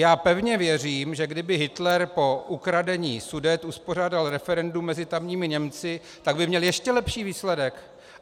Já pevně věřím, že kdyby Hitler po ukradení Sudet uspořádal referendum mezi tamními Němci, tak by měl ještě lepší výsledek.